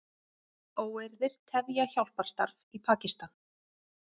Óeirðir tefja hjálparstarf í Pakistan